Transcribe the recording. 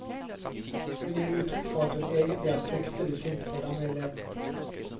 Hun gir uttrykk for at hun egentlig er fryktelig sint på denne eleven.